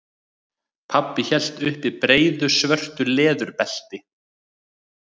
Pabbi hélt uppi breiðu svörtu leðurbelti.